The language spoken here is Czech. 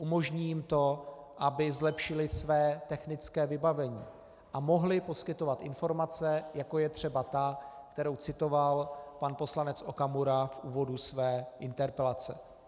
Umožní jim to, aby zlepšily své technické vybavení a mohly poskytovat informace, jako je třeba ta, kterou citoval pan poslanec Okamura v úvodu své interpelace.